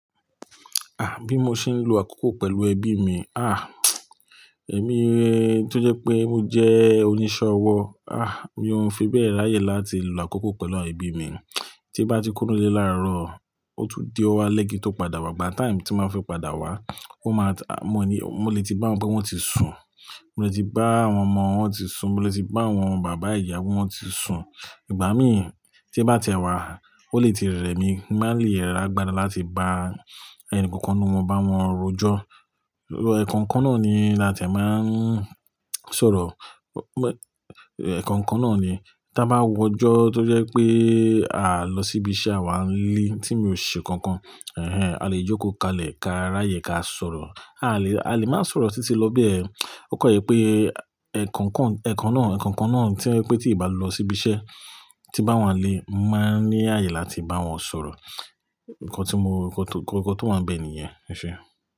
Ah, bí mo ṣe ń lo àkókò pẹ̀lú ẹbí mi? Ah, èmi tó jẹ́ pé mo jẹ́ oníṣẹ́ ọwọ́, ah, mi oń fi bẹ́ẹ̀ ráyè láti lo àkókò pẹ̀lú awon ẹbí mi. Tí bá ti kúrò ní ile làárọ̀, ó tún di ọ̀wo álé kín tó padà wá, gbà táìmù tí máa fi padà wá, ó máa ta-- mo ní, mo lè ti bá wọn pé wọ́n ti sùn. Mo lè ti bá àwọn ọmọ wọn tí sùn, mo lè ti bá àwọn bàbá ìyá pe wọn tí sùn. Ìgbà mí tín bá ti ẹ́ wá, ó lè ti rẹ̀ mí, mo ma lè rà gbára láti bá ẹnì kankan ninu wọn bá wọn rojọ́. Ẹ̀ẹ̀ko kan náà ni láti ẹ̀ máa ń sọ̀rọ̀. Ẹ̀ẹ̀ko kan náà ni tí a bá wo ọjọ́ tó jẹ́ pé à lọ síbise awà ń lé tí mi ò ṣe kankan. Ẹ̀hẹn, a lè jókòó kalẹ̀ ka ráyè ká sọ̀rọ̀. A lè, a lè máa sọ̀rọ̀ títí lọ bẹ́ẹ̀. Ó kọ̀ yẹ pé ẹ̀ẹ̀kan kan, ẹ̀ẹ̀kan náà, ẹ̀ẹ̀kan kan náà tí wípé tí ìbá lọ síbi iṣẹ́ tí bá wọn lé, máa ń ní àyè láti bá wọn sọ̀rọ̀. Ǹkan tí mo, Ǹkan tó máa ń bẹ ni ìyẹn. Ese.